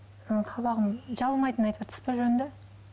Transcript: ы қабағым жабылмайтынын айтыватырсыз ба жөнді